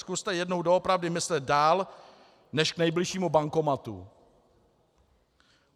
Zkuste jednou doopravdy myslet dál než k nejbližšímu bankomatu.